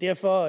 derfor